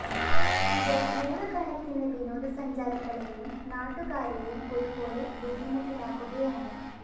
ഇത് നൂറു കണക്കിന് വിനോദ സഞ്ചാരികളെയും നാട്ടുകാരെയും ഒരുപോലെ ബുദ്ധിമുട്ടിലാക്കുകയാണ്